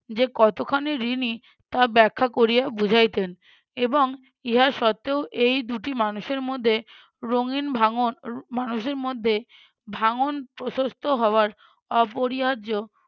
যে কতখানি ঋণী, তা ব্যাখ্যা করিয়া বুঝাইতেন এবং ইহা সত্বেও এই দুইটি মানুষের মধ্যে রঙিন ভাঙ্গন মানুষের মধ্যে ভাঙ্গন প্রশস্ত হওয়ার অপরিহার্য